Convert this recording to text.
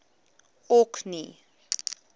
orkney